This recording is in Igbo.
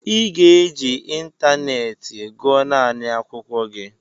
ị ga-eji ịntanetị gụọ naanị akwụkwọ gị!